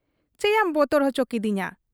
ᱪᱮᱭᱟᱢ ᱵᱚᱛᱚᱨ ᱚᱪᱚ ᱠᱠᱤᱫᱤᱧᱟ ᱾